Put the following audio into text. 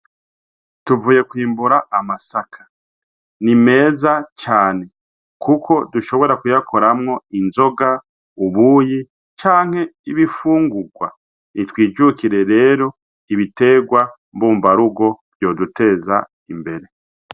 Tuvuye kwimbura amasaka, ni meza cane, kuko dushobora kuyakoramwo inzoga, ubuyi canke ibifungurwa, ni twijukire rero ibiterwa mbumbarugo vyoduteza imbere.